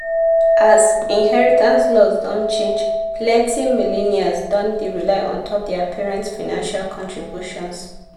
as inheritance laws don change plenty millennials don dey rely ontop their parents financial contributions.